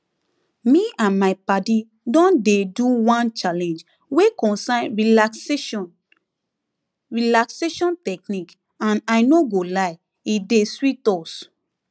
me and my padi don dey do one challenge wey concern relaxation relaxation technique and i no go lie e dey sweet us